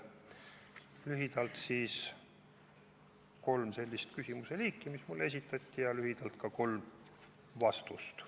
Sellised olid lühidalt öeldes kolm mulle esitatud küsimuse liiki ja ka kolm nendele lühidalt antud vastust.